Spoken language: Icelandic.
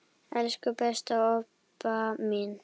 Elsku besta Obba mín.